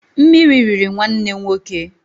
Mmiri riri nwanne nwoke.